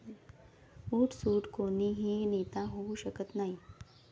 उठसूठ कोणीही नेता होऊ शकत नाही.